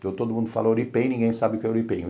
Então, todo mundo fala Uripen e ninguém sabe o que é Uripen.